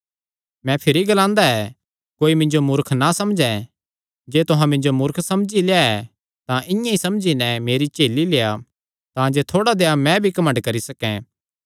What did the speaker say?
मैं भिरी ग्लांदा ऐ कोई मिन्जो मूर्ख ना समझैं जे तुहां मिन्जो मूर्ख समझी लेआ ऐ तां इआं ई समझी नैं मेरी झेली लेआ तांजे थोड़ा देहया मैं भी घमंड करी सकैं